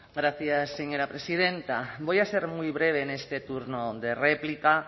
gracias señora presidenta voy a ser muy breve en este turno de réplica